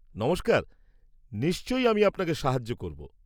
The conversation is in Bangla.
নমস্কার, নিশ্চয়, আমি আপনাকে সাহায্য করব।